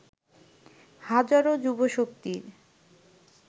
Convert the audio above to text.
হাজারো যুবশক্তির